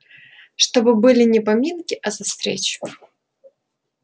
чтобы были не поминки а за встречу